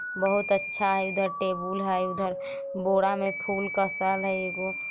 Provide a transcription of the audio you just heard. बहुत अच्छा हई इधर टेबुल हई उधर बोरा में फूल कसल हई एगो।